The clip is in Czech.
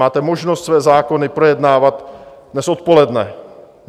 Máte možnost své zákony projednávat dnes odpoledne.